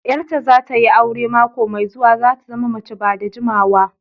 Yar ta zata yi aure mako mai zuwa, zata zama mace ba da jimawa.